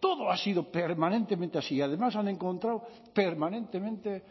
todo ha sido permanentemente así y además han encontrado permanentemente